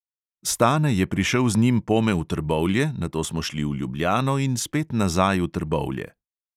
Stane je prišel z njim pome v trbovlje, nato smo šli v ljubljano in spet nazaj v trbovlje.